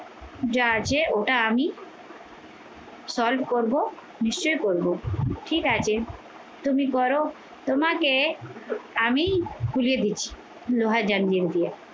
যা আছে ওটা আমি solve করবো, নিশ্চয়ই করবো ঠিক আছে তুমি করো তোমাকে আমি খুলে দিচ্ছি লোহা জানিয়ে দিয়ে